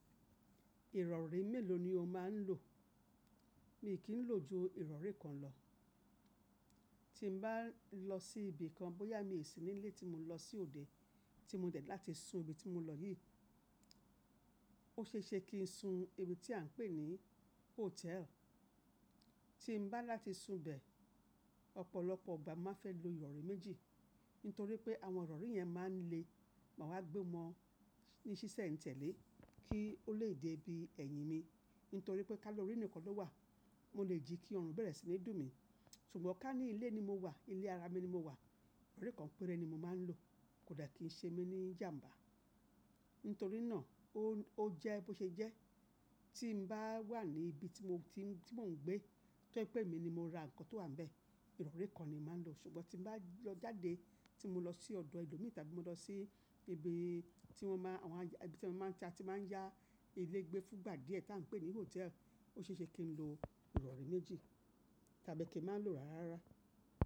Ìrọ̀rí mélòó ni o máa ń lò? Mi kì í lò ju ìrọ̀rí kan lọ. Tí mbá lọ sí ibi kan, bóyá mi sì ní ilé tí mo lọ sí òde, tí mo dẹ̀ ni láti sun ibi tí mo lọ yìí, ó ṣe é ṣe kí n sun ibi tí à ń pè ní hotel. Tí mbá láti sun bẹ̀, ọ̀pọ̀lọpọ̀ igba nmáa fẹ́ lo ìrọ̀rí méjì. Nítorí pé àwọn ìrọ̀rí yẹn máa ń le, màá wá gbé wọn ní ṣíṣẹ̀ n tẹ̀lé kí ó lè dé ibi ẹ̀yìn mi. Nítorí pé ká lọrí nìkan ló wà, mo lè jí kí ọrùn bẹ̀rẹ̀ sí ní dù mí. Ṣùgbọ́n ká ní ilé ni mo wà, ilé ara mi ni mo wà, ìrọ̀rí kan péré ni mo máa ń lò. Kò dà kí i ṣe mí ní ìjàǹbá. Nítorí náà o jẹ́ bó ṣe jẹ́. Tí mbá wà ní ibi tí mò ń gbé, tọ́je pé èmi ni mo ra nǹkan tó wà níbẹ̀, ìrọ̀rí kan ni máa ń lò. Ṣùgbọ́n tí mo bá lọ jáde, tí mo lọ sí ọ̀dọ̀ ẹlòmíì tàbí mo lọ sí ibi tí wọ́n máa, àwọn ẹbí tí wọ́n máa ń ta tí máa ń yá ilé gbé fúngbà díẹ̀ tí à ń pè ní hotel, ó ṣe é ṣe kí n lo ìrọ̀rí méjì tàbí kí n máa lò ara rárá.